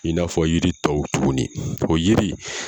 I n'a fɔ yiri tɔw tuguni o yiri